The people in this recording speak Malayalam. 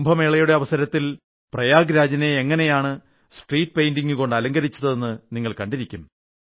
കുംഭമേളയുടെ അവസരത്തിൽ പ്രയാഗ് രാജിനെ എങ്ങനെയാണ് സ്ട്രീറ്റ് പെയ്ന്റിംഗുകൾ കൊണ്ട് അലങ്കരിച്ചതെന്ന് നിങ്ങൾ കണ്ടിരിക്കും